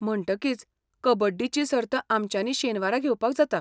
म्हणटकीच, कबड्डीची सर्त आमच्यानी शेनवारा घेवपाक जाता.